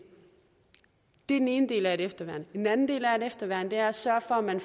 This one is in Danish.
det er den ene del af et efterværn den anden del af et efterværn er at sørge for at man